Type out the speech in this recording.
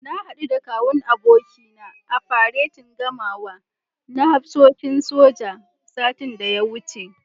Na haɗu da Kawun abokina a faretin gamawa na hafsoshin soja, satin da ya wuce.